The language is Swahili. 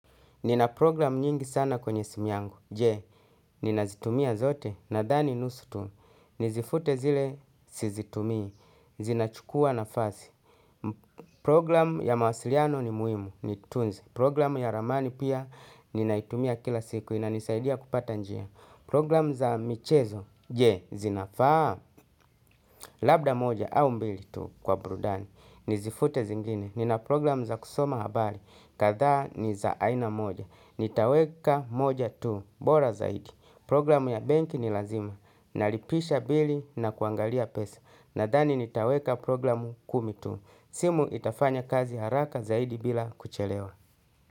Nina program nyingi sana kwenye simu yangu, je, ninazitumia zote, nadhani nusu tu, nizifute zile, sizitumii, zinachukua na fasi. Program ya mawasiliano ni muhimu, niitunze, program ya ramani pia, ninaitumia kila siku, inanisaidia kupata njia. Program za michezo, je, zinafaa, labda moja au mbili tu kwa burudani, nizifute zingine, nina program za kusoma habari, kadhaa ni za aina moja. Nitaweka moja tu, bora zaidi. Program ya benki ni lazima. Nalipisha bili na kuangalia pesa. Nadhani nitaweka program kumi tu. Simu itafanya kazi haraka zaidi bila kuchelewa.